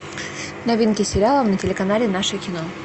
новинки сериала на телеканале наше кино